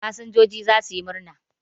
Fasinjoji za su yi murna.